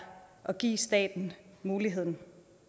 at give staten muligheden